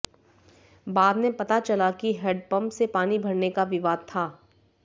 बाद में पता चला कि हैंडपंप से पानी भरने का विवाद था